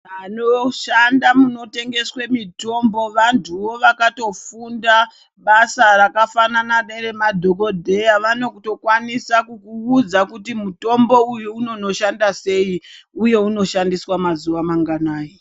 Vanoshanda munotengeswe mitombo vantuwo vakatofunda basa rakafanana nere madhokodheya vanotokwanisa kukuudza kuti mutombo uyu unonoshanda sei uye unoshandiswa mazuva manganai.